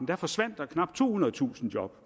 der forsvandt knap tohundredetusind job